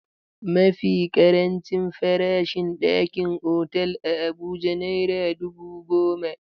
Mafi ƙarancin farashin ɗakin otal a Abuja naira dubu goma.